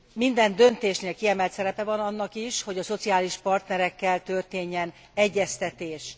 Minden döntésnél kiemelt szerepe van annak is, hogy a szociális partnerekkel történjen egyeztetés.